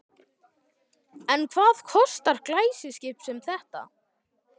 En hvað kostar glæsiskip sem þetta?